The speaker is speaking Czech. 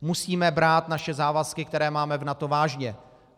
Musíme brát naše závazky, které máme v NATO, vážně.